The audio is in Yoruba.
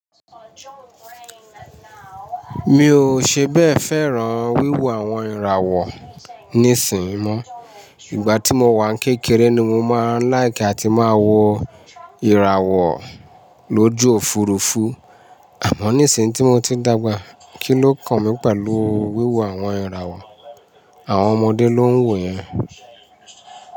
Mi ò ṣe bẹ́ẹ̀ fẹ́ràn wíwo àwọn ìràwọ̀ níìsín mọ́. Ìgbà tí mo wà n kékeré ni mo máa ń láìkì àti máa wọ ìràwọ̀ lójú Òfurufú. Àmọ́ nísin tí mo ti dàgbà, kí ló kan mi pẹ̀lú wíwo àwọn ìràwọ̀. Àwọn ọmọdé ló ń wòó yen.